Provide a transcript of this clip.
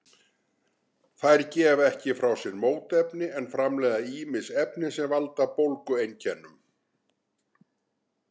Þær gefa ekki frá sér mótefni en framleiða ýmis efni sem valda bólgueinkennum.